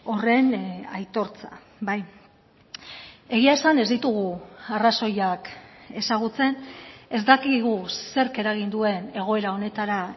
horren aitortza bai egia esan ez ditugu arrazoiak ezagutzen ez dakigu zerk eragin duen egoera honetara